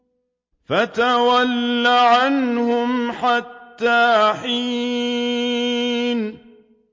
فَتَوَلَّ عَنْهُمْ حَتَّىٰ حِينٍ